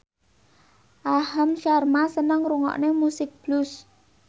Aham Sharma seneng ngrungokne musik blues